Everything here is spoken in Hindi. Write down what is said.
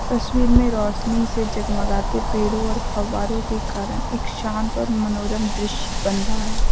तस्वीर में रोशनी से जगमगाते पेड़ों और फब्बारों के कारण एक शांत और मनोरम दृश्य बन रहा --